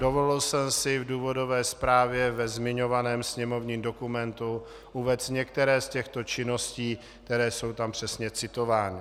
Dovolil jsem si v důvodové zprávě ve zmiňovaném sněmovním dokumentu uvést některé z těchto činností, které jsou tam přesně citovány.